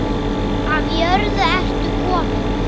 Af jörðu ertu kominn.